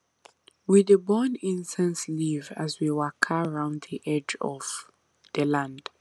we dey burn incense leaf as we waka round the edge of the land